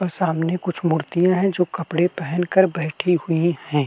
और सामने कुछ मूर्तियां है जो कपड़े पहनकर बैठी हुईं है।